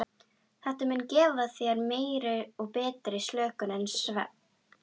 Þetta mun gefa þér meiri og betri slökun en svefn.